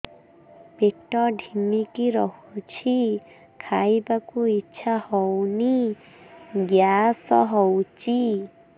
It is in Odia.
ପେଟ ଢିମିକି ରହୁଛି ଖାଇବାକୁ ଇଛା ହଉନି ଗ୍ୟାସ ହଉଚି